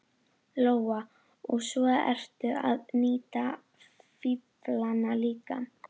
Lóa: Og svo ertu að nýta fíflana líka?